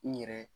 N yɛrɛ